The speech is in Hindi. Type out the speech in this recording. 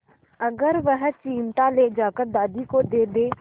अगर वह चिमटा ले जाकर दादी को दे दे